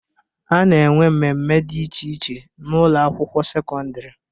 A na-enwe mmemme dị iche iche n'Ụlọ akwụkwọ sekọndrị